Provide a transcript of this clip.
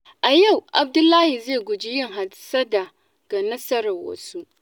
A yau, Abdullahi zai guji yin hassada ga nasarar wasu.